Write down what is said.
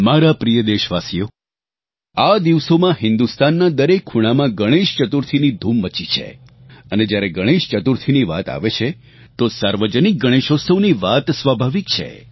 મારા પ્રિય દેશવાસીઓ આ દિવસોમાં હિન્દુસ્તાનના દરેક ખૂણામાં ગણેશ ચતુર્થીની ધૂમ મચી છે અને જ્યારે ગણેશચતુર્થીની વાત આવે છે તો સાર્વજનિક ગણેશોત્સવની વાત સ્વાભાવિક છે